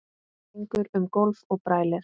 Gengur um gólf og brælir.